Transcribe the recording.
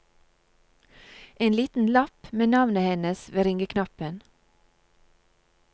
En liten lapp med navnet hennes ved ringeknappen.